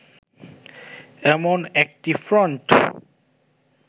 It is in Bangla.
এমন একটি ফ্রন্ট